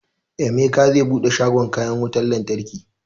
Emeka zai buɗe shagon kayan wutan lantarki